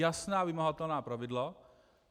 Jasná vymahatelná pravidla.